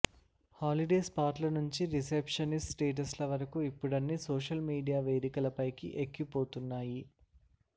holiday స్పాట్ల నుంచి relationship స్టేటస్ల వరకు ఇప్పుడన్నీ సోషల్ మీడియా వేదికలపైకి ఎక్కిపోతున్నాయి